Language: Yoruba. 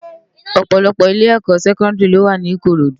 Òpòlòpò ilé èkò sèkòdìrí ló wá ni Ikorodu